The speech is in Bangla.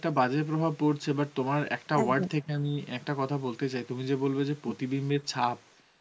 একটা বাজে প্রভাব পরছে but তোমার word থেকে আমি একটা কথা বলতে চাই তুমি যে বলবে যে প্রতিবিম্বের ছাপ